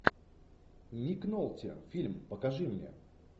ник нолти фильм покажи мне